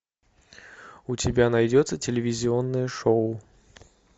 у тебя найдется телевизионное шоу